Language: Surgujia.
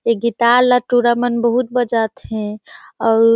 ये गिटार ला टूरा मन बहुत बजाथे अउ--